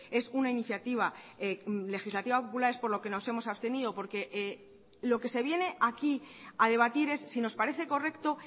es una iniciativa legislativa popular es por lo que nos hemos abstenido porque lo que se viene aquí a debatir es si nos parece correcto